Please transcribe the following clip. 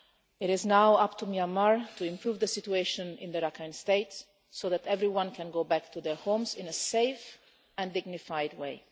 It is now up to Myanmar to improve the situation in the Rakhine State so that everyone can go back to their homes in a safe and dignified way.